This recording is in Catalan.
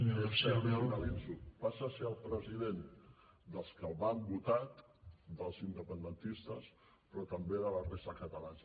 finalitzo passa a ser el president dels que el van votar dels independentistes però també de la resta de catalans